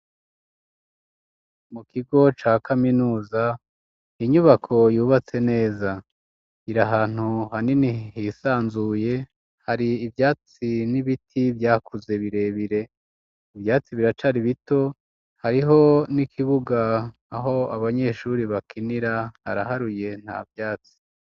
Mu kigo ca kaminuza ,inyubako yubatse neza, iri ahantu hanini hisanzuye ,hari ivyatsi n'ibiti vyakuze birebire, ivyatsi biracari bito, hariho n'ikibuga aho abanyeshuri bakinira ,haraharuye nta vyatsi.